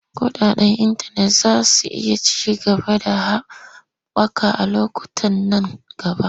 Kuɗaɗen intanet za su iya ci gaba da haɓaka a lokutan nan gaba.